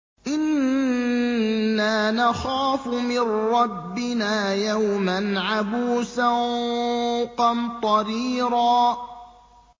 إِنَّا نَخَافُ مِن رَّبِّنَا يَوْمًا عَبُوسًا قَمْطَرِيرًا